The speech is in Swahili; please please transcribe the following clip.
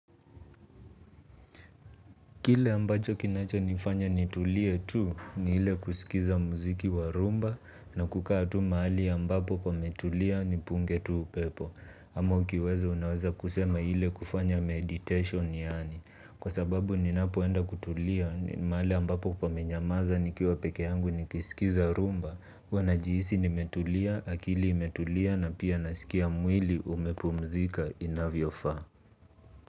Kile ambacho kinachonifanya nitulie tu, ni ile kusikiliza muziki wa rumba na kukaa tu maali ambapo pametulia ni punge tu upepo. Ama ukiweza unaweza kusema hile kufanya meditation yani. Kwa sababu ninapoenda kutulia ni maali ambapo kupamenyamaza nikiwa peke yangu nikisikiza rumba. Huwa najihisi nimetulia, akili imetulia na pia nasikia mwili umepumzika inavyofaa.